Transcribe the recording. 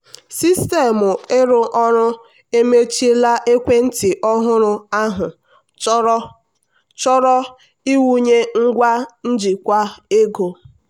sistemụ ịrụ ọrụ emechiela ekwentị ọhụrụ ahụ chọrọ chọrọ ịwụnye ngwa njikwa ego.